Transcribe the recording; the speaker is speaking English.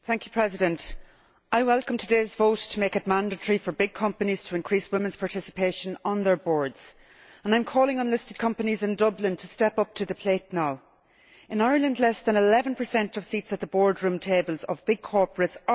Madam President, I welcome today's vote to make it mandatory for big companies to increase women's participation on their boards, and I am calling on listed companies in Dublin to step up to the plate now. In Ireland, women occupy less than 11 of the seats at the boardroom tables of big corporates.